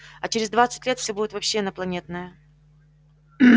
а через двадцать лет всё будет вообще инопланетное